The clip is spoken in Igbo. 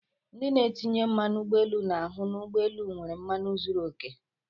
Ndị na-etinye mmanu ụgbọelu na-ahụ n'ụgbọelu nwere mmanụ zuru okè.